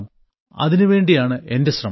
അതിനുവേണ്ടിയാണ് എന്റെ ശ്രമം